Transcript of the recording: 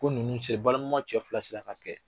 Ko n ninnu se balimama cɛ fila sina k'a kɛ.